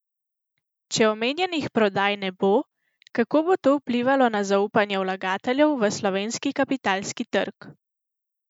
Če omenjenih prodaj ne bo, kako bo to vplivalo na zaupanje vlagateljev v slovenski kapitalski trg?